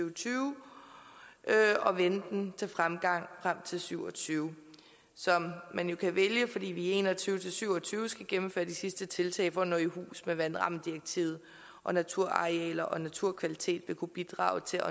og tyve og vende den til fremgang frem til syv og tyve som man jo kan vælge fordi vi i en og tyve til syv og tyve skal gennemføre de sidste tiltag for at nå i hus med vandrammedirektivet og naturarealer og naturkvalitet vil kunne bidrage til